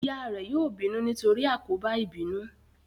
Ìyá rẹ yóò bínú nítorí àkóbá ìbínú